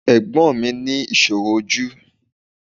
Ẹ̀gbọ́n mi ní ìṣòro ojú